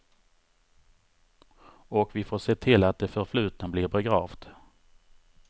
Och vi får se till att det förflutna blir begravt.